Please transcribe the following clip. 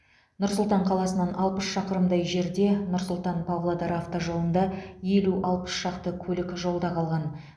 нұр сұлтан қаласынан алпыс шақырымдай жерде нұр сұлтан павлодар автожолында елу алпыс шақты көлік жолда қалған